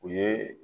U ye